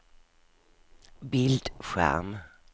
bildskärm